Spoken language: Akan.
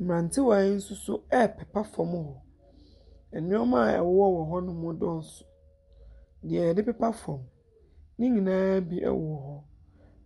Mmrantewaa yi nso repepa fam hɔ. Nnoɔma a ɛwowɔ hɔnom no dɔɔso. Nea yɛde pepa fam. Ne nyinaa bi wɔ hɔ.